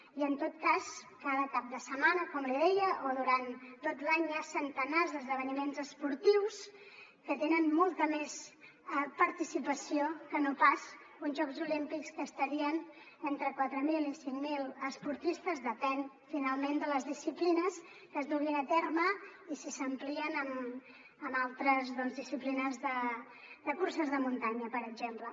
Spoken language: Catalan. i en tot cas cada cap de setmana com li deia o durant tot l’any hi ha centenars d’esdeveniments esportius que tenen molta més participació que no pas uns jocs olímpics que estarien entre quatre mil i cinc mil esportistes depèn finalment de les disciplines que es duguin a terme i si s’amplien amb altres disciplines de curses de muntanya per exemple